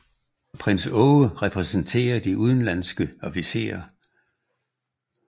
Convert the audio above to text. Prins Aage repræsenterer de udenlandske officerer